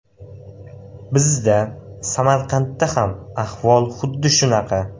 Bizda, Samarqandda ham ahvol xuddi shunaqa.